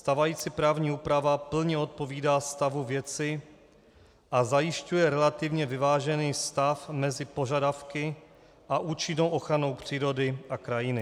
Stávající právní úprava plně odpovídá stavu věci a zajišťuje relativně vyvážený stav mezi požadavky a účinnou ochranou přírody a krajiny.